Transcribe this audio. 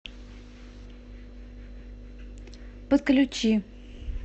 подключи